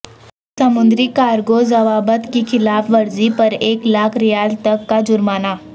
سمندری کارگو ضوابط کی خلاف ورزی پر ایک لاکھ ریال تک کا جرمانہ